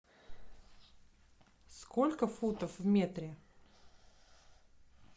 сколько футов в метре